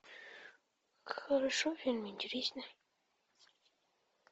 хорошо фильм интересный